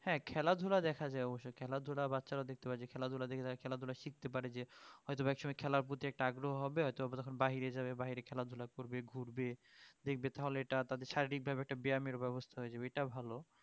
হ্যাঁ খেলাধুলা দেখা যায় অবশ্যই খেলাধুলা বাচ্চারা দেখতে পারে খেলাধুলা দেখে খেলাধুলা শিখতে পারে যে হয়ত বা কেউ খেলার প্রতি আগ্রহ হবে হয়ত তখন বাহিরে যাবে বাহিরে খেলাধুলা করবে ঘুরবে দেখবে তাহলে এটা সঠিক ভাবে একটা ব্যায়ামের ব্যবস্থা হয়ে যাবে ওইটা ভালো